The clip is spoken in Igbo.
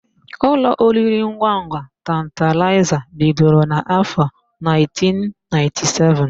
Ụlọ oriringwangwa Tantalaịza bidoro n'áfọ̀ 1997.